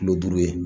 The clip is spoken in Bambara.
Kilo duuru ye